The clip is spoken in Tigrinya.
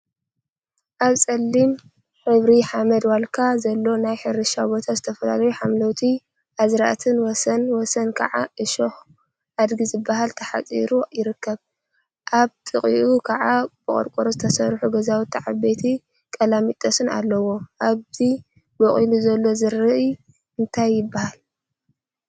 አብ ፀሊም ሕብሪ ሓመድ/ዋልካ ዘለዎ ናይ ሕርሻ ቦታ ዝተፈላለዩ ሓምለዎት አዝርእቲን ወሰን ወሰን ከዓ ዕሾኽ አድጊ ዝበሃልን ተሓፂሩ ይርከብ፡፡ አብ ጥቅኡ ከዓ ብቆርቆሮ ዝተሰርሑ ገዛውቲን ዓበይቲ ቀላሚጠስን አለው፡፡ እዚ በቂሉ ዘሎ ዘርኢ እንታይ ይበሃል?